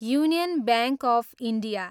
union bank of India